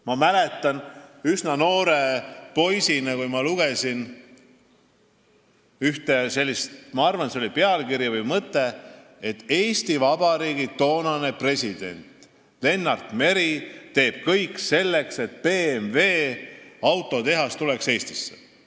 Ma mäletan, kui ma üsna noore poisina lugesin ühte sellist pealkirja või mõtet, et Eesti Vabariigi toonane president Lennart Meri teeb kõik selleks, et BMW autotehas tuleks Eestisse.